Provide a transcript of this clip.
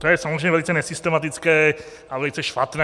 To je samozřejmě velice nesystematické a velice špatné.